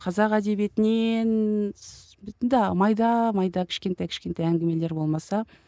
қазақ әдебиетінен майда майда кішкентай кішкентай әңгімелер болмаса